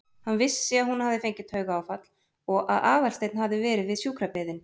Hann vissi að hún hafði fengið taugaáfall og að Aðalsteinn hafði verið við sjúkrabeðinn.